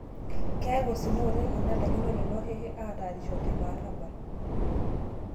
Keyau osina oleng' enelaikino lelo Hehe ataarisho teilo arabal